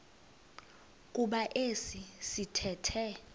kuba esi sithethe